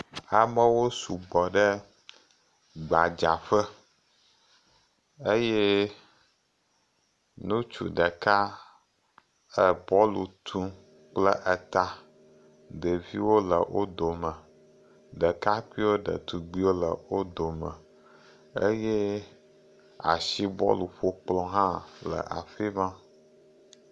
Amewo sugbɔ ɖe gbadzaƒe. Eye ŋutsu ɖeka ebɔlu tum kple eta. Ɖeviwo le wo dome, ɖekakpuiwo, ɖetugbuiwo le wo dome eye asibɔluƒokplɔ̃ hã le afi ma.